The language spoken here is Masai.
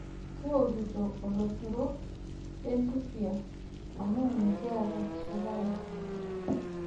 Kiwokito oloshoro lentupia amu mikiata esukari.